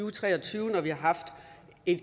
og tre og tyve når vi har haft et